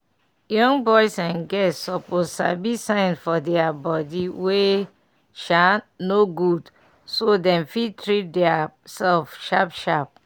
young boys and girls suppose sabi sign for deir body wey um no good so dem fit treat deir self sharp sharp.